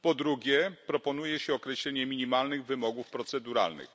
Po drugie, proponuje się określenie minimalnych wymogów proceduralnych.